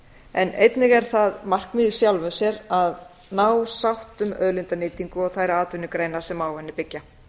en einnig er það markmið í sjálfu sér að ná sátt um auðlindanýtingu og þær atvinnugreinar sem á henni byggja